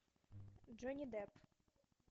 джонни депп